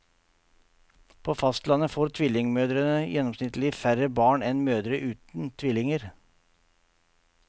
På fastlandet får tvillingmødre gjennomsnittlig færre barn enn mødre uten tvillinger.